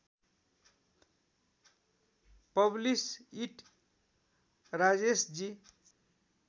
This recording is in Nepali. publish it Rajeshji